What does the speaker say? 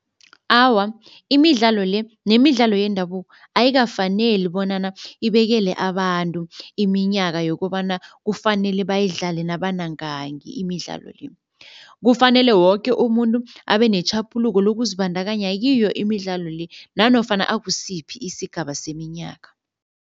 Awa imidlalo le nemidlalo yendabuko ayikafaneli bonyana ibekele abantu iminyaka yokobana kufanele bayidlale nabanangaki imidlalo le. Kufanele woke umuntu abe netjhaphuluko lokuzibandakanya kiyo imidlalo le nanofana akusiphi isigaba seminyaka.